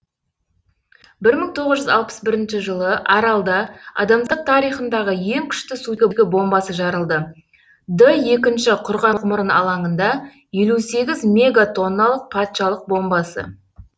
бір мың тоғыз жүз алпыс бірінші жылы аралда адамзат тарихындағы ең күшті сутегі бомбасы жарылды д екінші құрғақ мұрын алаңында елу сегіз мегатонналық патшалық бомбасы